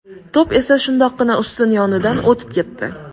To‘p esa shundoqqina ustun yonidan o‘tib ketdi.